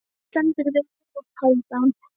Þú stendur þig vel, Hálfdán!